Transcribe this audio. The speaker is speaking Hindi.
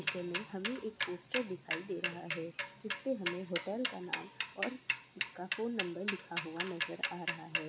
दृश्य में हमें एक पोस्टर दिखाई दे रहा है जिस पे हमें होटल का नाम और उसका फ़ोन नंबर लिखा हुआ नज़र आ रहा है।